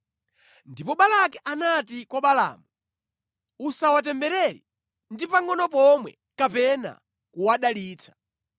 Ndipo Balaki anati kwa Balaamu, “Usawatemberere ndi pangʼono pomwe kapena kuwadalitsa!